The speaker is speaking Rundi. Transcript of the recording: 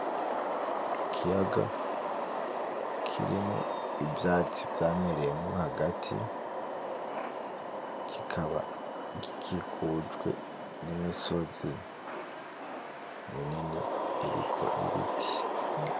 Ikiyaga kirimwo ivyatsi vyamereyemwo hagati kikaba gikikujwe n'imisozi minini iriko n'ibiti.